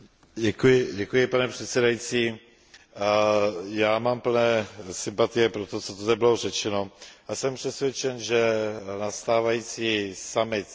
Pane předsedající, já mám plné sympatie pro to, co tady bylo řečeno, a jsem přesvědčen, že nastávající summit, tzv.